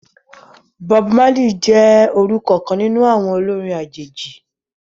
Bob Marley jẹ orukọ kan ninu awọn orin ajeji.